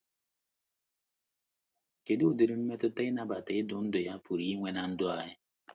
Kedu udiri mmetụta ịnabata idu ndú ya pụrụ inwe ná ndụ anyị?